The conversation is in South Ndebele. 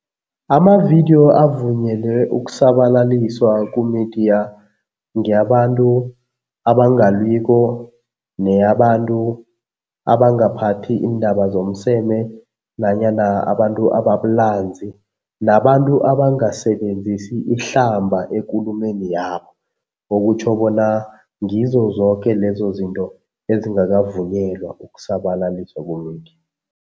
Amavidiyo avunyelwe ukusabalaliswa kumidiya ngeyabantu abangalwiko neyabantu abangaphathi iindaba zomseme nanyana abantu ababulanzi nabantu abangasebenzisi ihlamba ekulumeni yabo. Okutjho bona ngizo zoke lezo zinto ezingakavunyelwa ukusabalaliswa kumidiya.